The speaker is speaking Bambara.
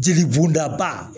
Jeli bɔnda ba